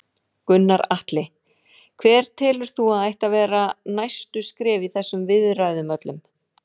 Gunnar Atli: Hver telur þú að ættu að vera næstu skref í þessum viðræðum öllum?